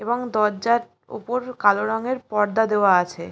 এবং দরজার উপর কালো রং এর পর্দা দেওয়া আছে।